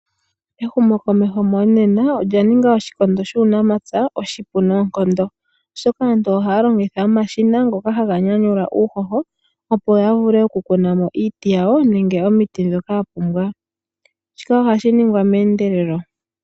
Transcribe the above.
Ehumokomeho monena olya ninga shikondo shuunamapya oshikunoonkondo oshoka , aantu ohaa longitha omashina ngoka haga nyanyula uuyoho opo yavule okukunamo iiti yawo nenge omiti ndhoka yapumbwa. Shika ohashi ningwa meendelelo.